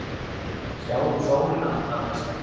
Sjáðu sólina, manneskja!